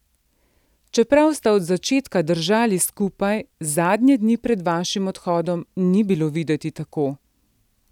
Čeprav sta od začetka držali skupaj, zadnje dni pred vašim odhodom ni bilo videti tako.